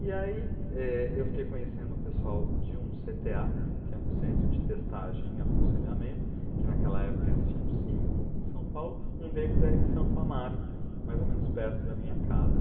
E aí eh, eu fiquei conhecendo o pessoal de um cê tê á, que é o Centro de Testagem e Aconselhamento, que naquela época existiam cinco em São Paulo, um deles era em Santo Amaro, mais ou menos perto da minha casa.